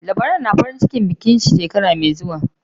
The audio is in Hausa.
Labaran farin bikin aure shekara mai zuwa